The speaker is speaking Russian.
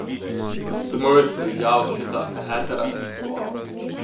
в с в смысле я вообще-то гетеросексуал